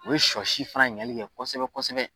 O bɛ sɔ si fana ɲagali kɛ kosɛbɛ kosɛbɛ